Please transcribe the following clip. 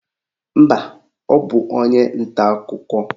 Mba, ọ bụ onye nta akụkọ.